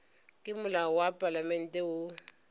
ke molao wa palamente wo